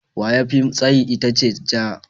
Waya mafi tsayi ita ce ja.